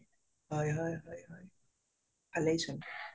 হয় হয় হয় ভালেই চোন